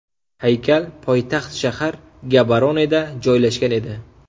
Haykal poytaxt shahar Gaboroneda joylashgan edi.